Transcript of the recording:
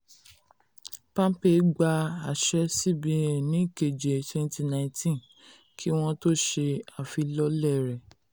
palmpay gba àṣẹ cbn ní keje twenty nineteen kí um wọ́n tó ṣe afilọ́lẹ̀ rẹ.